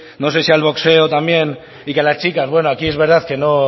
no sé si al boxeo también y que a las chicas bueno aquí es verdad que